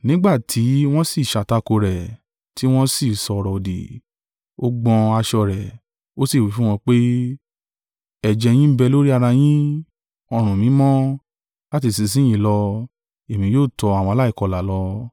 Nígbà tí wọ́n sì sàtakò rẹ̀, tí wọ́n sì sọ̀rọ̀-òdì, ó gbọ́n aṣọ rẹ̀, ó sì wí fún wọn pé, “Ẹ̀jẹ̀ yin ń bẹ lórí ara yin; ọrùn mi mọ́: láti ìsinsin yìí lọ, èmi yóò tọ àwọn aláìkọlà lọ.”